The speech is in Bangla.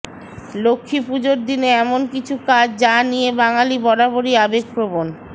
লক্ষ্মীপুজোর দিনে এমন কিছু কাজ যা নিয়ে বাঙালি বরাবরই আবেগপ্রবণ